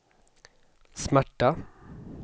smärta